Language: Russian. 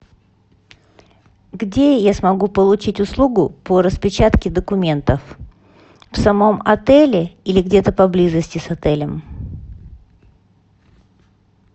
где я смогу получить услугу по распечатке документов в самом отеле или где то поблизости с отелем